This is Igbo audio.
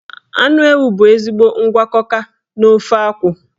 Anụ ewu bụ ezigbo ngwakọka n'ofe akwu.